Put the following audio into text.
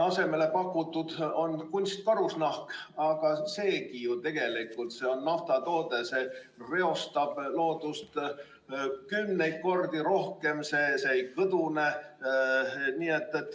Asemele on pakutud kunstkarusnahka, aga seegi nõuab tegelikult naftatoodete kasutamist ja see reostab loodust kümneid kordi rohkem, see ei kõdune.